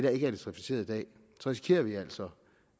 er elektrificeret i dag risikerer vi altså